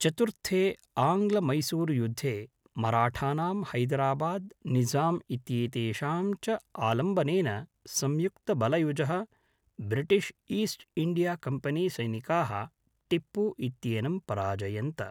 चतुर्थे आङ्ग्लमैसूरुयुद्धे मराठानां हैदराबाद् निज़ाम इत्येतेषां च आलम्बनेन संयुक्तबलयुजः ब्रिटिश् ईस्ट् इण्डियाकम्पनीसैनिकाः टिप्पु इत्येनं पराजयन्त।